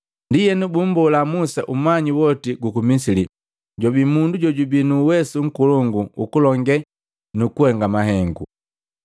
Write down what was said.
Ndienu bumbola Musa umanyi woti guku Misili, jwabii mundu jojubii nu uwesu nkolongu ukulonge nu kuhenga mahengu.